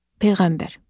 Peyğəmbər.